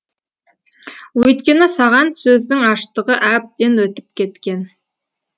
өйткені саған сөздің аштығы әбден өтіп кеткен